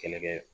Kɛlɛ kɛ